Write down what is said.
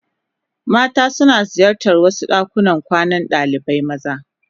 Mata suna ziyartar wasu dakunan kwanan dalibai maza.